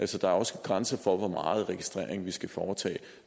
der er også grænser for hvor meget registrering vi skal foretage